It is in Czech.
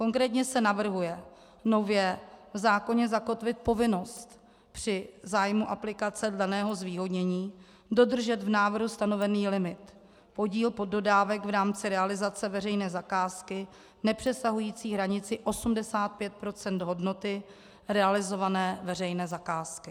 Konkrétně se navrhuje nově v zákoně zakotvit povinnost při zájmu aplikace daného zvýhodnění dodržet v návrhu stanovený limit, podíl poddodávek v rámci realizace veřejné zakázky nepřesahující hranici 85 % hodnoty realizované veřejné zakázky.